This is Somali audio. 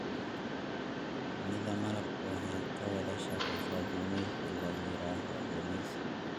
Shinnida malabku waxay ka wada shaqeysaa gumeysi la yiraahdo gumeysi.